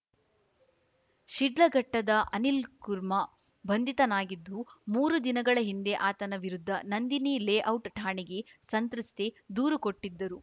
ಶಿಡ್ಲಘಟ್ಟದ ಅನಿಲ್‌ ಕುರ್ಮಾ ಬಂಧಿತನಾಗಿದ್ದು ಮೂರು ದಿನಗಳ ಹಿಂದ ಆತನ ವಿರುದ್ಧ ನಂದಿನಿ ಲೇಔಟ್‌ ಠಾಣೆಗೆ ಸಂತ್ರಸ್ತೆ ದೂರು ಕೊಟ್ಟಿದ್ದರು